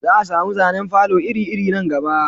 Za a samu zanen falo iri iri nan gaba